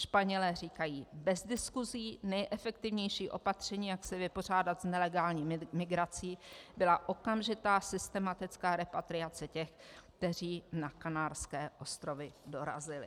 Španělé říkají: bez diskusí nejefektivnější opatření, jak se vypořádat s nelegální migrací, byla okamžitá systematická repatriace těch, kteří na Kanárské ostrovy dorazili.